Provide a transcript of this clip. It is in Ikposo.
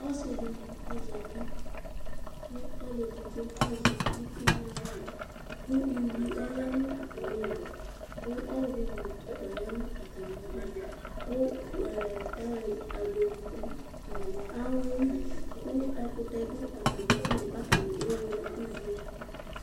Ɔsi dibi zati ku ɔluedigbo azɛ uti nu aɣla uyui ɔlɛ nu atamili ku ɔɣlɔ nu utukpa ya nu atamidu ku agbedi du awuɛli ku ɛkutɛ du atamidu ku atani ewule ɛku vie